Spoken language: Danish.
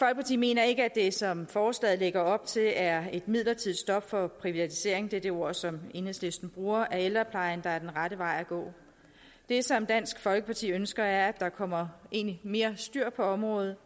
mener ikke at det som forslaget lægger op til er et midlertidigt stop for privatisering det er de ord som enhedslisten bruger af ældreplejen der er den rette vej at gå det som dansk folkeparti egentlig ønsker er at der kommer mere styr på området